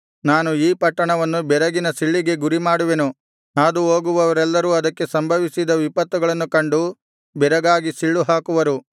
ನಾನು ಈ ಪಟ್ಟಣವನ್ನು ಬೆರಗಿನ ಸಿಳ್ಳಿಗೆ ಗುರಿಮಾಡುವೆನು ಹಾದುಹೋಗುವವರೆಲ್ಲರೂ ಅದಕ್ಕೆ ಸಂಭವಿಸಿದ ವಿಪತ್ತುಗಳನ್ನು ಕಂಡು ಬೆರಗಾಗಿ ಸಿಳ್ಳುಹಾಕುವರು